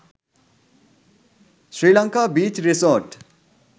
sri lanka beach resort